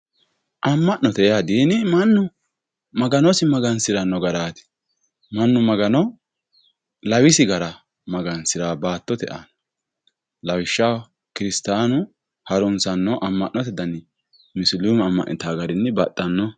Ama'note yaa dimannu Maganosi Magansirano garati ,Mannu Magano lawisi gara magansirano baattote aana lawishshaho kiristanu haruunsano ama'note dani musulime ama'nittano daninni baxxano.